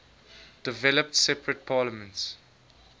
developed separate parliaments